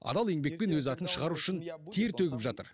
адал еңбекпен өз атын шығару үшін тер төгіп жатыр